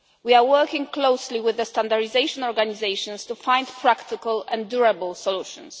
We are working closely with the standardisation organisations to find practical and durable solutions.